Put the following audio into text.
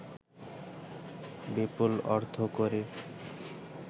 বিপুল অর্থকড়ির